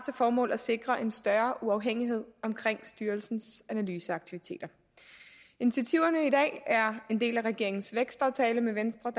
formål at sikre en større uafhængighed omkring styrelsens analyseaktiviteter initiativerne i dag er en del af regeringens vækstaftale med venstre